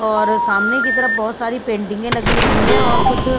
और सामने की तरफ बहुत सारी पेंटिंगें लगी हुई है और कुछ--